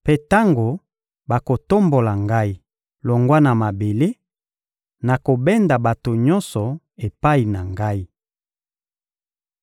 Mpe tango bakotombola Ngai longwa na mabele, nakobenda bato nyonso epai na Ngai.